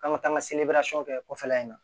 An ka taa an ka kɛ kɔfɛla in na